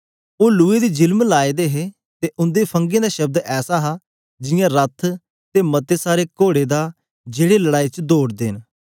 ओ लुए दी झिलम लाए दे हे ते उंदे फंगें दा शब्द ऐसा हा जियां रथ ते मते सारे कोड़े दा जेड़े लड़ाई च दौड़दे ओन